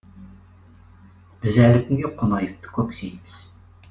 біз әлі күнге қонаевты көксейміз